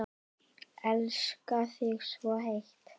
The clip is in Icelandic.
Elska þig svo heitt.